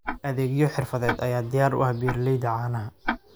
Adeegyo xirfadeed ayaa diyaar u ah beeralayda caanaha.